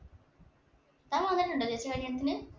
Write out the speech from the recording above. താൻ വന്നിട്ടുണ്ടോ ചേച്ചിയുടെ കല്യാണത്തിന്?